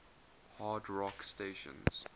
hard rock stations